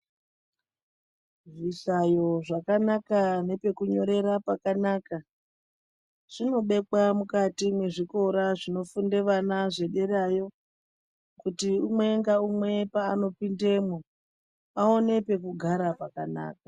Zvishayo zvakanaka nepekunyorera pakanaka zvinobekwa mukati mwezvikora zvinofunde vana zvederayo. Kuti umwe ngaumwe paanopindemwo aone pekugara pakanaka.